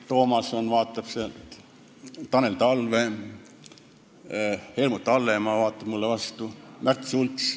Toomas vaatab sealt, Tanel Talve on, Helmut Hallemaa vaatab mulle vastu ja Märt Sults on ka.